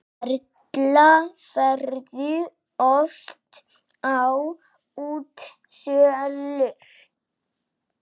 Erla: Ferðu oft á útsölur?